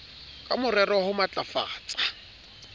ka morero wa ho matlafatsa